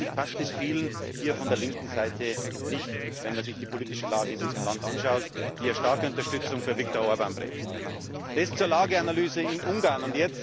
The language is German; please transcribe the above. Offensichtlich passt es vielen hier von der linken Seite nicht, wenn man sich die politische Lage in diesem Land anschaut, die ja starke Unterstützung für Viktor Orbán zum Ausdruck bringt. Das zur Lageanalyse in Ungarn.